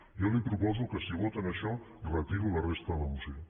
jo li proposo que si voten això retiro la resta de la moció